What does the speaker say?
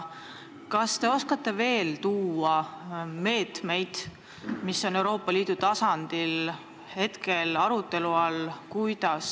Kas te oskate veel tuua meetmeid, mis Euroopa Liidu tasemel hetkel arutelu all on?